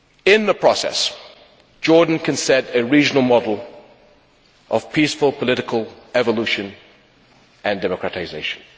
In the process Jordan can set a regional model of peaceful political evolution and democratisation.